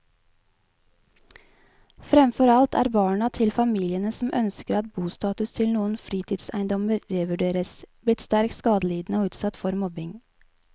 Fremfor alt er barna til familiene som ønsker at bostatus til noen fritidseiendommer revurderes, blitt sterkt skadelidende og utsatt for mobbing.